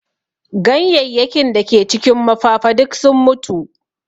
Ganyenyakin da ke cikin mafafa duk sun mutu